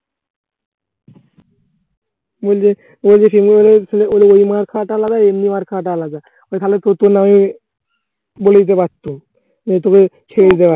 বলছে ওর বেশি ছিল ওর এই মার্ খাওয়াটা আলাদা এমনি মার খাওয়াটা আলাদা। ওই খালেদ তোর জন্যই বলে দিতে পারত, তোকে ছেড়ে দিতে পারত।